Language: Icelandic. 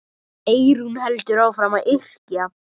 Eyrún heldur áfram að yrkja.